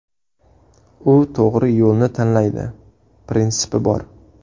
U to‘g‘ri yo‘lni tanlaydi, prinsipi bor.